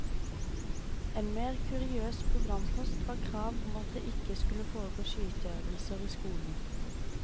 En mer kuriøs programpost var krav om at det ikke skulle foregå skyteøvelser i skolen.